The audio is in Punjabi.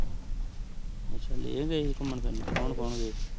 ਆਚਾ ਲੇਹ ਏ ਸੀ ਘੁਮਾਣ ਫਿਰ ਨੂ ਕੋੰ ਕੋੰ ਗਯਾ